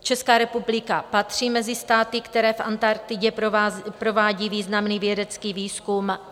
Česká republika patří mezi státy, které v Antarktidě provádí významný vědecký výzkum.